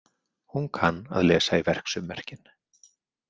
Hún kann að lesa í verksummerkin.